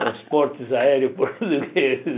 Transportes aéreos portugueses.